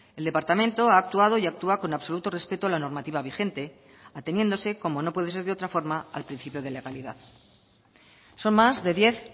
el departamento ha actuado y actúa con absoluto respeto a la normativa vigente ateniéndose como no puede ser de otra forma al principio de legalidad son más de diez